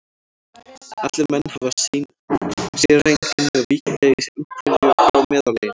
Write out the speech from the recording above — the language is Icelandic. Allir menn hafa sín séreinkenni og víkja í einhverju frá meðallaginu.